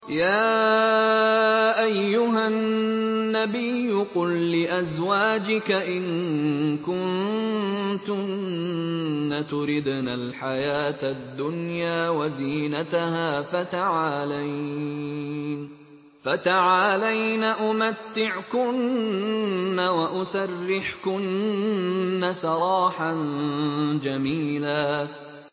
يَا أَيُّهَا النَّبِيُّ قُل لِّأَزْوَاجِكَ إِن كُنتُنَّ تُرِدْنَ الْحَيَاةَ الدُّنْيَا وَزِينَتَهَا فَتَعَالَيْنَ أُمَتِّعْكُنَّ وَأُسَرِّحْكُنَّ سَرَاحًا جَمِيلًا